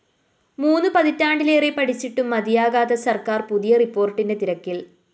മൂന്ന് പതിറ്റാണ്ടിലേറെ പഠിച്ചിട്ടും മതിയാകാത്ത സര്‍ക്കാര്‍ പുതിയ റിപ്പോര്‍ട്ടിന്റെ തിരക്കില്‍